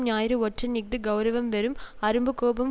ஞாயிறு ஒற்றன் இஃது கெளரவம் வெறும் அரும்பு கோபம்